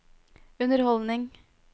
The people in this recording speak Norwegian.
underholdning